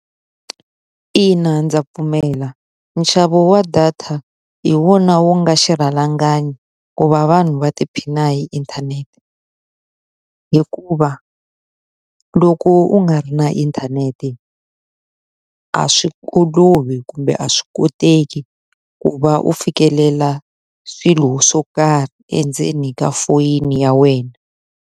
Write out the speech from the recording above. Ina ndza pfumela. Nxavo wa data hi wona wu nga xirhalanganyi ku va vanhu va tiphina hi inthanete. Hikuva loko u nga ri na inthanete a swi olovi kumbe a swi koteki ku va u fikelela swilo swo karhi endzeni ka foyini ya wena.